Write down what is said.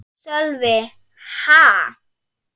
Sölvi: Ha?